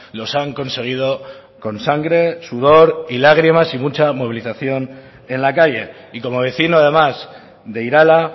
los han conseguido con sangre sudor y lágrimas y mucha movilización en la calle y como vecino además de irala